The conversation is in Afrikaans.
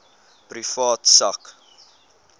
privaat sak